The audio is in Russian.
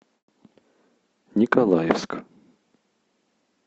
николаевск